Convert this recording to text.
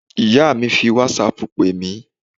Ìyá mi fi whatsapp pè mí